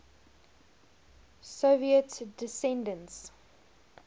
soviet dissidents